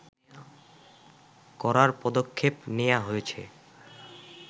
করার পদক্ষেপ নেয়া হয়েছে